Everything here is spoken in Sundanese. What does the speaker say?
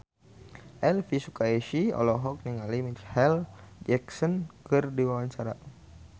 Elvy Sukaesih olohok ningali Micheal Jackson keur diwawancara